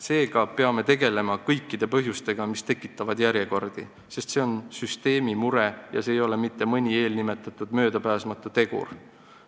Seega peame tegelema kõikide põhjustega, mis tekitavad järjekordi, sest see on süsteemi mure, see ei ole mitte mõni eelnimetatud möödapääsmatu tegur.